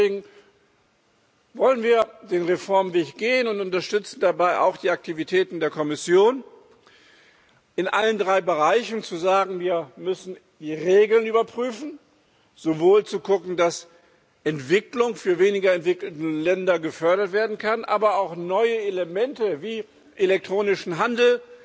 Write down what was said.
Deswegen wollen wir den Reformweg gehen und unterstützen dabei auch die Aktivitäten der Kommission, in allen drei Bereichen zu sagen Wir müssen die Regeln überprüfen, sowohl zu gucken, dass Entwicklung für weniger entwickelte Länder gefördert werden kann, aber auch neue Elemente wie elektronischen Handel